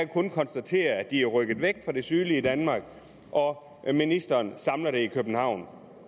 kun konstatere at de er rykket væk fra det sydlige danmark og at ministeren samler det i københavn